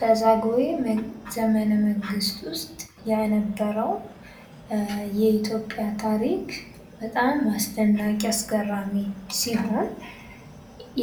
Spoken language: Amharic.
በዛግዌ ዘመነ መንግስት ውስጥ የነበረው የኢትዮጵያ ታሪክ በጣም አስደናቂ አስገራሚ ሲሆን